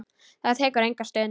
Það tekur enga stund.